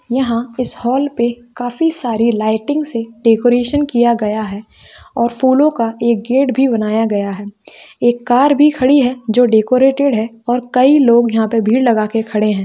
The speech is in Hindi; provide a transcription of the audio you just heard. यहाँ इस हाल पे काफी सारी लइटिंग्स से डेकोरेशन किया गया है और फूलो का एक गेट भी बनाया गया है एक कार भी खड़ी है जो डेकोरेटेड है और कई लोग यहाँ पे भीड़ लगा के खड़े है।